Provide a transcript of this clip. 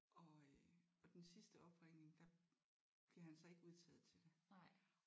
Og øh og den sidste opringning der bliver han så ikke udtaget til det